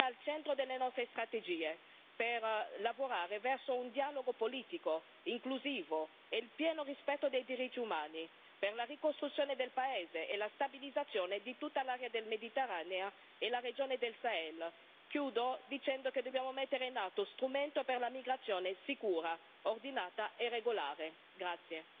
Ma anche obiettivi di lungo termine, la pace e la riconciliazione al centro delle nostre strategie per lavorare verso un dialogo politico inclusivo e il pieno rispetto dei diritti umani, per la ricostruzione della paese e la stabilizzazione di tutta l'area del Mediterraneo e la regione del Sahel. Chiudo dicendo che dobbiamo mettere in atto uno strumento per una migrazione sicura, ordinata e regolare.